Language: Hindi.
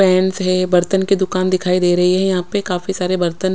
पेंस है बर्थन की दुकान दिखाई दे रही है यहा पे काफी सारे बर्थन--